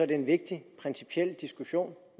det en vigtig principiel diskussion